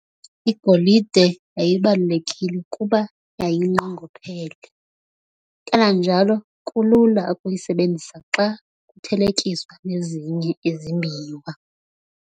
igolide yayibalulekile kuba yayinqongophele, kananjalo kulula ukuyisebenzisa xa kuthelekiswa nezinye izimbiwa.